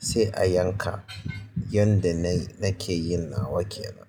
sai a yanka yanda na ke yin nawa kenan.